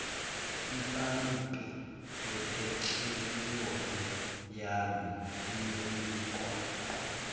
iphayiphi lephethroliyamu liyonikwa